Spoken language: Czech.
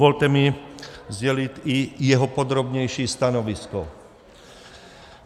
Dovolte mi sdělit i jeho podrobnější stanovisko.